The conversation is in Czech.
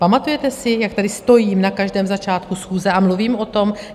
Pamatujete si, jak tady stojím na každém začátku schůze a mluvím o tom?